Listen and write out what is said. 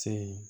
Se ye